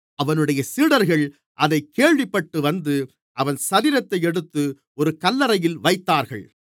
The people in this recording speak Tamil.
அவனுடைய சீடர்கள் அதைக் கேள்விப்பட்டு வந்து அவன் சரீரத்தை எடுத்து ஒரு கல்லறையில் வைத்தார்கள்